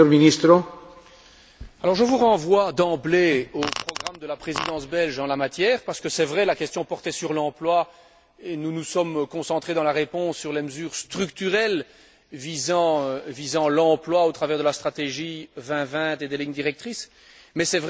Je vous renvoie d'emblée au programme de la Présidence belge en la matière, parce que c'est vrai, la question portait sur l'emploi et nous nous sommes concentrés, dans la réponse, sur les mesures structurelles visant l'emploi, au travers de la stratégie 2020 et des lignes directrices. Mais c'est vrai, vous avez entièrement raison.